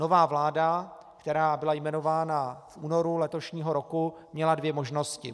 Nová vláda, která byla jmenována v únoru letošního roku, měla dvě možnosti.